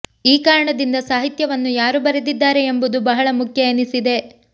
ಈ ಕಾರಣದಿಂದ ಸಾಹಿತ್ಯವನ್ನು ಯಾರು ಬರೆದಿದ್ದಾರೆ ಎಂಬುದು ಬಹಳ ಮುಖ್ಯ ಎನಿಸಿದೆ